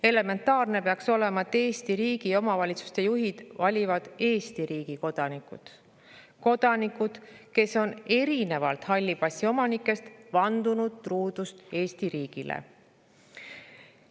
Elementaarne peaks olema, et Eesti riigi ja omavalitsuste juhte valivad Eesti riigi kodanikud, kes on erinevalt halli passi omanikest vandunud truudust Eesti riigile.